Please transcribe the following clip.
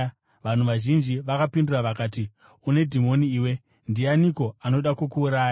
Vanhu vazhinji vakapindura vakati, “Une dhimoni iwe. Ndianiko anoda kukuuraya?”